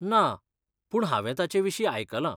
ना, पूण हांवें ताचेविशीं आयकलां.